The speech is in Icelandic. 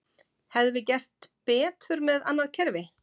Hefðum við gert betur með annað kerfi?